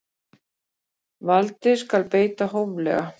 Valdi skal beita hóflega.